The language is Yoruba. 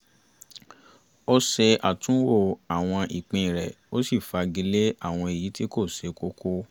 ó ṣe àtúnwò àwọn ìpín rẹ ó sì fagilé àwọn èyí tí kò ṣe kókó